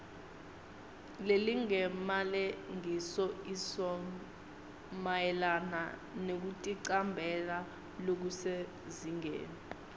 lelingemalengisoisomayelana nekuticambela lokusezingeni